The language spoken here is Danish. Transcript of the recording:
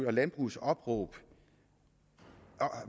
og landbrugets opråb